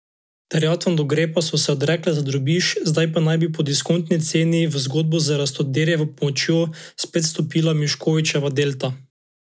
Terjatvam do Grepa so se odrekle za drobiž, zdaj pa naj bi po diskontni ceni v zgodbo z Rastoderjevo pomočjo spet vstopila Miškovićeva Delta.